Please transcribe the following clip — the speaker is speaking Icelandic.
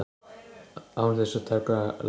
Án þess að taka lán!